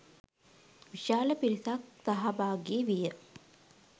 විශාල පිරිසක් සහභාගී විය.